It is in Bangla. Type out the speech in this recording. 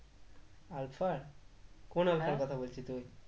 আলফা? কোন আলফার কথা বলছিস তুই?